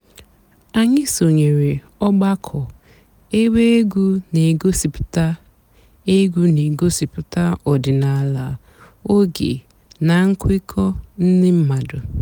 ányị́ sònyèéré ọ̀gbàkọ̀ èbé ègwú nà-ègosìpụ́tá ègwú nà-ègosìpụ́tá ọ̀dị́náàlà óge nà ǹkwékọ̀ ndị́ m̀mádụ́.